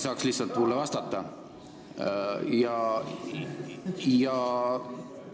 Kehakaalu poolest on ta minust natukene suurem.